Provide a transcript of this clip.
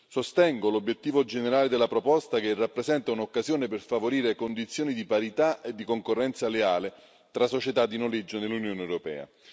Sostengo l'obiettivo generale della proposta, che rappresenta un'occasione per favorire condizioni di parità e di concorrenza leale tra società di noleggio nell'Unione europea.